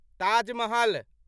Taj Mahal